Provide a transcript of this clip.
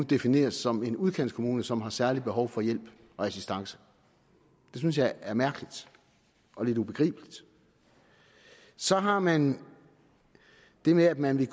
defineres som en udkantskommune som har særlige behov for hjælp og assistance det synes jeg er mærkeligt og lidt ubegribeligt så har man det med at man vil